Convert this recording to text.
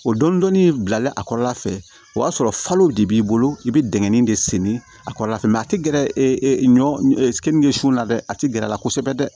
O dɔni dɔni bilalen a kɔrɔla fɛ o y'a sɔrɔ falow de b'i bolo i bɛ dɛgɛ nin de seni a kɔrɔla fɛ a tɛ gɛrɛ e ɲɔn kenige su la dɛ a tɛ gɛrɛ a la kosɛbɛ dɛ